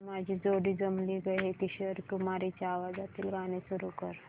तुझी माझी जोडी जमली गं हे किशोर कुमारांच्या आवाजातील गाणं सुरू कर